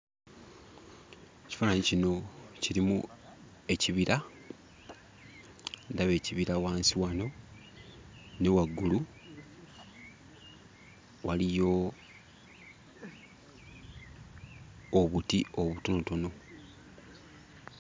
Ekifaananyi kino kirimu ekibira. Ndaba ekibira wansi wano, ne waggulu waliyo obuti obutonotono.